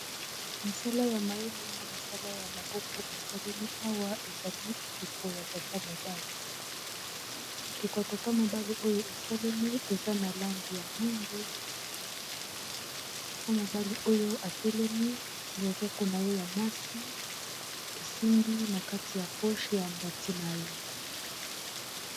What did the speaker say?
Mosala ya mayele na mosala ya maboko esalemi awa ezali ekeko ya tata mobali . ekeko ya tata mobali oyo esalemi eza na langi ya mundu tata mobali oyo atelemi loboko na ye ya mwasi esimbi na kati ya poshe ya mbati na ye